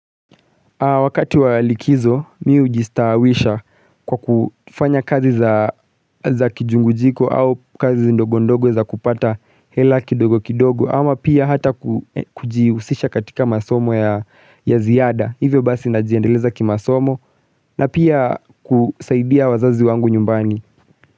Wakati wa likizo mimi hujistawisha kwa kufanya kazi za kijungujiko au kazi ndogo ndogo za kupata hela kidogo kidogo ama pia hata kujihusisha katika masomo ya ziada hivyo basi najiendeleza kimasomo na pia kusaidia wazazi wangu nyumbani.